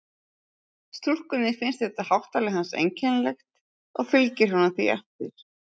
Stúlkunni finnst þetta háttalag hans einkennilegt og fylgir honum því eftir.